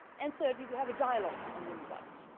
Thirdly, we have a dialogue on human rights.